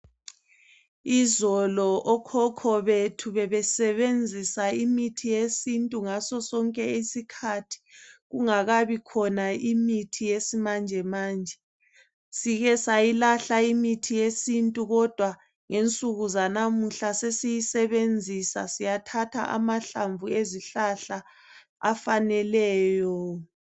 Izolo okhokho bethu bebesebenzisa imithi yesintu ngaso sonke isikhathi kungakabi khona imithi yesimanje manje. Sike sayilahla imithi yesintu kodwa ngensuku zanamuhla sesiyi sebenzisa siyathatha amahlamvu ezihlahla afaneleyo